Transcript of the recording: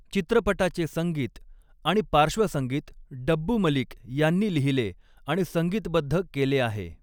चित्रपटाचे संगीत आणि पार्श्वसंगीत डब्बू मलिक यांनी लिहिले आणि संगीतबद्ध केले आहे.